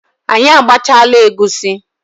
Anyị agbachaala egusi